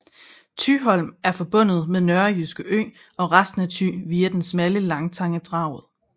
Thyholm er forbundet med Nørrejyske Ø og resten af Thy via den smalle landtange Draget